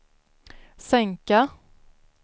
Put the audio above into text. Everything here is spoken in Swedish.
sänka